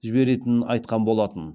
жіберетінін айтқан болатын